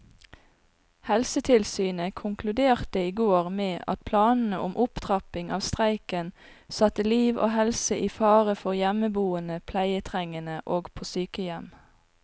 Helsetilsynet konkluderte i går med at planene om opptrapping av streiken satte liv og helse i fare for hjemmeboende pleietrengende og på sykehjem.